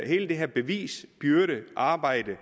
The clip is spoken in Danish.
hele det her bevisbyrdearbejde